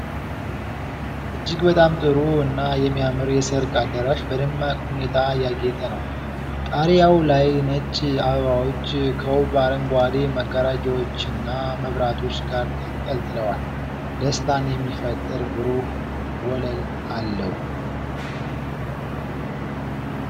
እጅግ በጣም ጥሩ እና የሚያምር የሠርግ አዳራሽ በደማቅ ሁኔታ ያጌጠ ነው። ጣሪያው ላይ ነጭ አበባዎች ከውብ አረንጓዴ መጋረጃዎችና መብራቶች ጋር ተንጠልጥለዋል። ደስታን የሚፈጥር ብሩህ ወለል አለው።